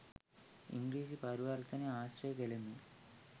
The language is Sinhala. ඉංග්‍රීසි පරිවර්තනය ආශ්‍රය කළෙමි.